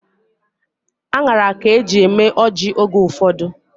Aṅara ka eji eme ọjị oge ụfọdụ.